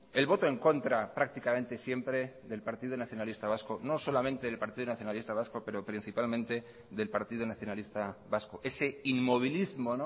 el voto en contra prácticamente siempre del partido nacionalista vasco no solamente del partido nacionalista vasco pero principalmente del partido nacionalista vasco ese inmovilismo